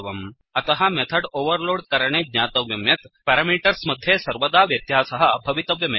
अतः मेथड्ओवेर्लोड् करणे ज्ञातव्यं यत् पेरामीटर्स् मध्ये सर्वदा व्यत्यासः भवितव्यमेव